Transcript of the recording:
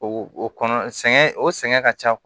O kɔnɔ sɛgɛn o sɛgɛn ka ca